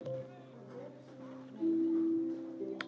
Það samtal fór aldrei fram.